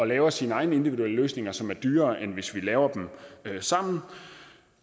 laver sine egne individuelle løsninger som er dyrere end hvis vi laver dem sammen